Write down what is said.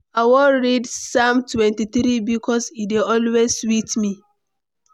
I wan read Psalm 23 bikos e dey always sweet me.